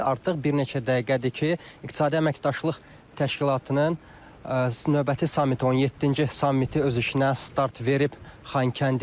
Artıq bir neçə dəqiqədir ki, İqtisadi Əməkdaşlıq Təşkilatının növbəti samiti, 17-ci samiti öz işinə start verib Xankəndidə.